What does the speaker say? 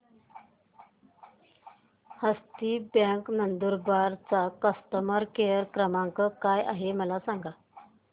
हस्ती bank Nandurbar चा customer care क्रमांक काय आहे हे मला सांगा